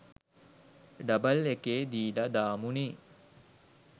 Double එකේ දීල දාමු නෙ.